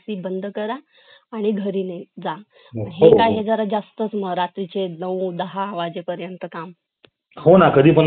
online classes झाले तर त्या सुद्धा शिक्षकां ना classes काय झालं hybrid work झालं ते मस्त घरी बसून मुलांना शिकवा पण